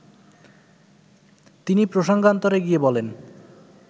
তিনি প্রসঙ্গান্তরে গিয়ে বলেন